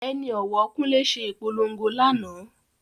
Ẹni òwò Kunle se ìpolongo lánàá